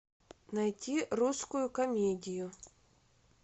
найти русскую комедию